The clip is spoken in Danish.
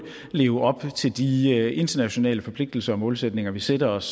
leve op til de internationale forpligtelser og målsætninger vi sætter os